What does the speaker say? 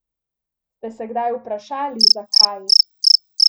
Ste se kdaj vprašali, zakaj?